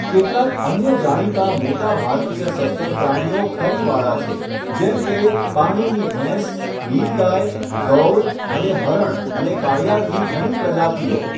કેટલાક અન્ય જાણીતા મોટા ભારતીય સસ્તન પ્રાણીઓ ખરીવાળા છે, જેમ કે પાણીની ભેંસ, નીલગાય, ગૌર અને હરણ અને કાળિયારની ઘણી પ્રજાતિઓ.